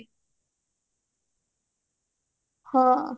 ହଁ